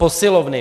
Posilovny.